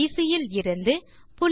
will PC இலிருந்து